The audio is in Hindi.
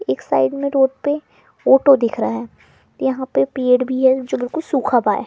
एक साइड में रोड पे फोटो दिख रहा है या पे पेड़ भी है जो बिलकुल है।